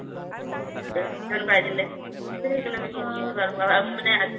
শিকিছো আৰু